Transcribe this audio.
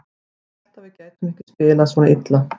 Ég hélt að við gætum ekki spilað svona illa.